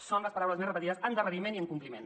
són les paraules més repetides endarreriment i incompliment